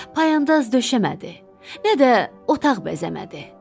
Payandaz döşəmədi, nə də otaq bəzəmədi.